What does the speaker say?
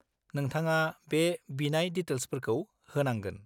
-नोंथाङा बे बिनाय दिटेल्सफोरखौ होनांगोन।